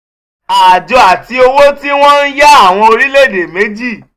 àjọ ati owó tí wọ́n ń yá àwọn orílẹ̀-èdè méjì.